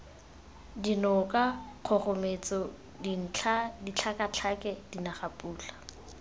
dinoka kgogometso dintlha ditlhakatlhake dinagapula